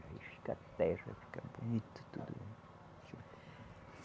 Aí fica terra, fica bonito tudo.